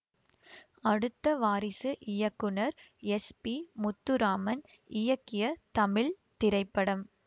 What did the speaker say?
அடுத்த வாரிசு இயக்குனர் S P Muthuraman இயக்கிய தமிழ் திரைப்படம்